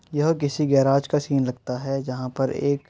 यह किसी गैराज का सीन लगता है। जहाँ पर एक --